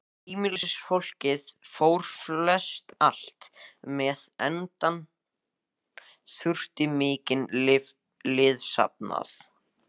Heimilisfólkið fór flestallt með, enda þurfti mikinn liðsafnað.